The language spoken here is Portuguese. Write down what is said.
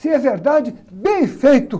Se é verdade, bem feito!